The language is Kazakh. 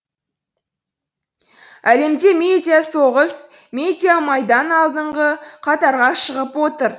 әлемде медиасоғыс медиамайдан алдыңғы қатарға шығып отыр